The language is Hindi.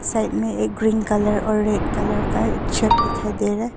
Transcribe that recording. साइड में एक ग्रीन कलर और रेड कलर का एक छत दिखाई दे रहा है।